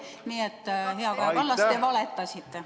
Nii et hea Kaja Kallas, te valetasite.